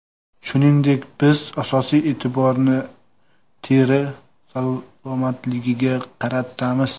Shuningdek, biz asosiy e’tiborni teri salomatligiga qaratamiz.